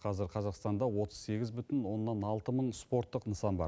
қазір қазақстанда отыз сегіз бүтін оннан алты мың спорттық нысан бар